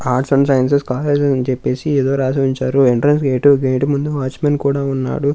Arts and sciences college అని చెపేసీ ఎదో రాసుంచారు అని చెప్పేసి ఎదో రాసి ఉంచారు ఎంట్రన్స్ గేటు ముందు వాచ్ మెన్ కూడా ఉన్నాడు.